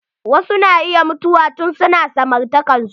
Wasu na iya mutuwa tun su na samartakan su.